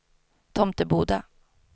Tomteboda